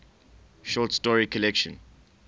short story collection